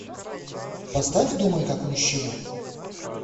поставь думай как мужчина